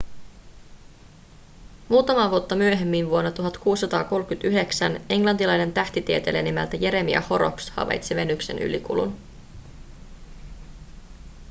muutamaa vuotta myöhemmin vuonna 1639 englantilainen tähtitieteilijä nimeltä jeremiah horrocks havaitsi venuksen ylikulun